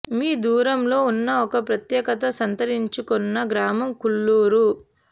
మీ దూరంలో ఉన్న ఒక ప్రత్యేకత సంతరించు కొన్న గ్రామం కుల్లూరు